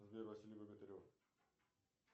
сбер василий богатырев